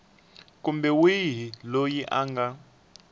kumbe wihi loyi a nga